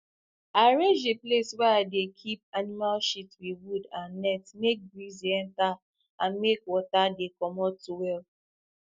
i arrange the place wey i dey keep animal shit with wood and net make breeze dey enter and make water dey commot well